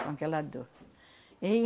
Com aquela dor.